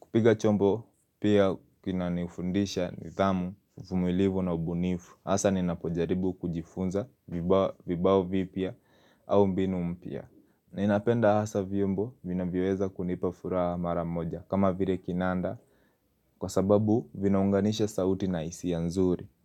Kupiga chombo pia kina nifundisha ni dhamu, uvumilivu na ubunifu. Hasa ninapojaribu kujifunza vibao vipya au mbinu mpya. Ninapenda hasa vyombo vina vyoweza kunipa furaha maramoja kama vile kinanda. Kwa sababu vinaunganisha sauti na hisi a nzuri.